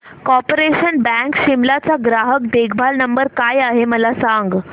corporation bank Shimla चा ग्राहक देखभाल नंबर काय आहे मला सांग